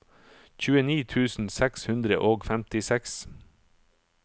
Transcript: tjueni tusen seks hundre og femtiseks